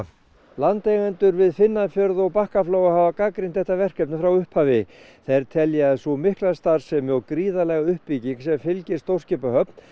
landeigendur við Finnafjörð og Bakkaflóa hafa gagnrýnt þetta verkefni frá upphafi þeir telja að sú mikla starfsemi og gríðarlega uppbygging sem fylgi stórskipahöfn